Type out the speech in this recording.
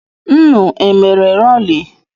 Nnu e mere rali?